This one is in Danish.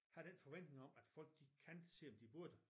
Havd den forventning om at folk de kan selvom de burde